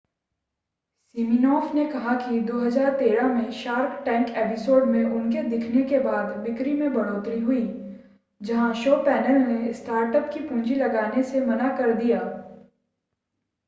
Siminoff ने कहा कि 2013 में शार्क टैंक एपिसोड में उनके दिखने के बाद बिक्री में बढ़ोतरी हुई जहां शो पैनल ने स्टार्टअप को पूंजी लगाने से मना कर दिया